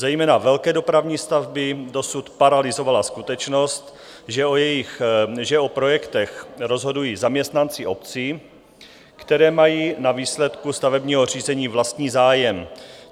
Zejména velké dopravní stavby dosud paralyzovala skutečnost, že o projektech rozhodují zaměstnanci obcí, které mají na výsledku stavebního řízení vlastní zájem.